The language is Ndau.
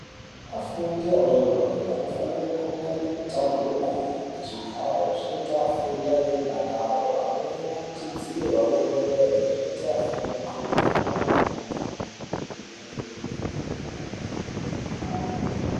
Afundi adori-dori anofanira kunge ane matebhura ngezvigaro zvinota afunde ane mudakaro. Amweni ane chidziro anonyorerwe zvinoite afunde ndxondo dziri pamweni. Kuti mushando vemadhogodheya nana mukoti upfave.